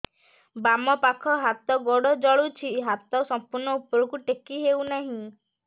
ବାମପାଖ ହାତ ଗୋଡ଼ ଜଳୁଛି ହାତ ସଂପୂର୍ଣ୍ଣ ଉପରକୁ ଟେକି ହେଉନାହିଁ